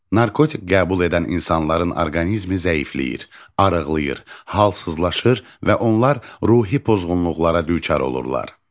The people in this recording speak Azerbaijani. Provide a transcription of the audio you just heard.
Narkotik qəbul edən insanların orqanizmi zəifləyir, arıqlayır, halsızlaşır və onlar ruhi pozğunluqlara düçar olurlar.